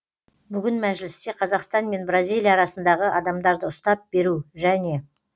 бүгін мәжілісте қазақстан мен бразилия арасындағы адамдарды ұстап беру және